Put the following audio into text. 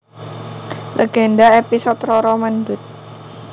Legenda episode Roro Mendut